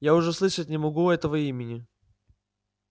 я уже слышать не могу этого имени